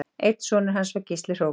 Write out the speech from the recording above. Einn sonur hans var Gísli hrókur